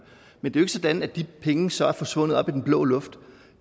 men det er sådan at de penge så er forsvundet op i den blå luft